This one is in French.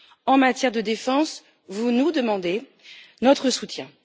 En matière de défense, vous nous demandez notre soutien.